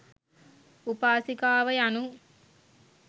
උපාසිකාව යනු